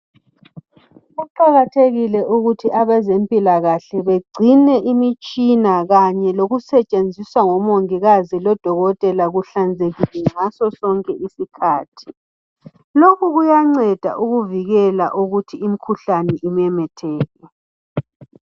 Kuqakathekile ukuthi abezempilakahle bagcine imitshina kanye lokusetshenziswa ngomongikazi lodokotela kuhlanzekile ngasosonke isikhathi. Lokhu kuyanceda ukuvikela ukuthi imikhuhlane imemetheke.